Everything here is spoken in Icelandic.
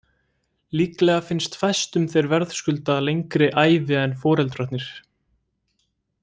Líklega finnst fæstum þeir verðskulda lengri ævi en foreldrarnir.